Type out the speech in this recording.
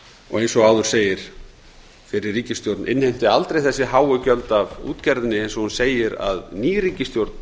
eins og áður segir innheimti fyrri ríkisstjórn aldrei þessi háu gjöld af útgerðinni eins og hún segir að ný ríkisstjórn